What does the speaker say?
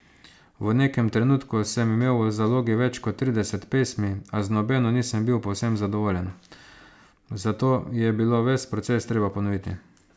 V nekem trenutku sem imel v zalogi več kot trideset pesmi, a z nobeno nisem bil povsem zadovoljen, zato je bilo ves proces treba ponoviti.